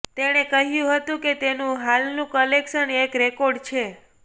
તેણે કહ્યું હતું કે તેનું હાલનું કલેક્શન એક રેકોર્ડ છે